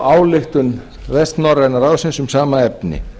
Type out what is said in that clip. ályktun vestnorræna ráðsins um sama efni